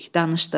Danışdıq.